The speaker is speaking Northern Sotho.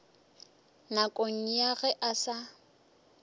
nakong ya ge e sa